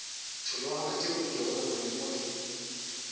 tšhologana tšeo nkego legodimo le